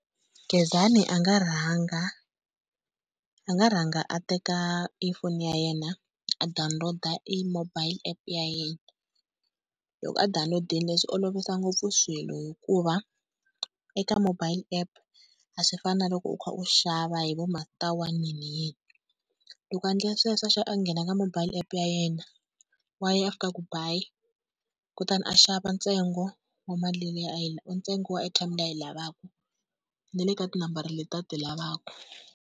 Gezani a nga rhanga a nga rhanga a teka e foni ya yena a download i mobile app ya yena. Loko a download-ile swi olovisa ngopfu swilo hikuva eka mobile app a swi fani na loko u kha u xava hi vo ma-star one yiniyini. Loko a endla swesweswo a nghena ka mobile app ya yena, wa ya a fika a ku buy, kutani a xava ntsengo wa mali leyi ntsengo wa airtime leyi a yi lavaka na le ka tinambara leti a ti lavaka.